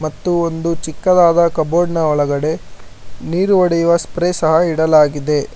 ಒಂದು ಚಿಕ್ಕದಾದ ಕಬೋರ್ಡ್ ನ ಒಳಗೆಡೆ ನೀರು ಒಡೆಯುವ ಸ್ಪ್ರೇ ಇಡಲಾಗಿದೆ.